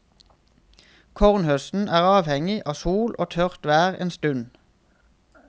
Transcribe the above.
Kornhøsten er avhengig av sol og tørt vær en stund.